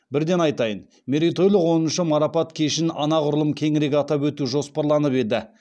бірден айтайын мерейтойлық оныншы марапат кешін анағұрлым кеңірек атап өту жоспарланып еді